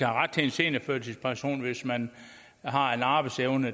ret til en seniorførtidspension hvis man har en arbejdsevne